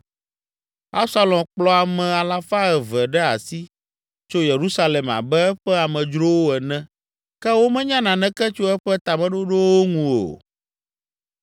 Absalom kplɔ ame alafa eve ɖe asi tso Yerusalem abe eƒe amedzrowo ene ke womenya naneke tso eƒe tameɖoɖowo ŋu o.